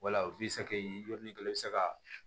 Wala u b'i sak'i yɔrɔnin kelen i bɛ se ka